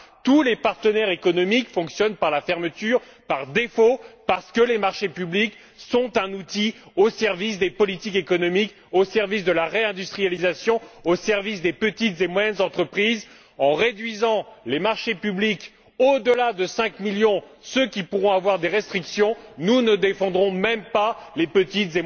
Tous les partenaires économiques fonctionnent par la fermeture par défaut parce que les marchés publics sont un outil au service des politiques économiques, au service de la réindustrialisation, au service des petites et moyennes entreprises. En réduisant les marchés publics au delà de cinq millions, ceux qui pourront avoir des restrictions, nous ne défendrons même pas les petites et moyennes entreprises.